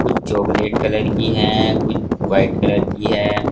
Chocolate colour की है कुछ व्हाइट कलर की हैं।